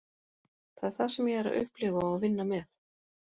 Það er það sem ég er að upplifa og vinna með.